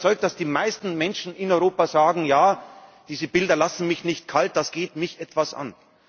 Und ich bin überzeugt, dass die meisten Menschen in Europa sagen Ja, diese Bilder lassen mich nicht kalt, das geht mich etwas an.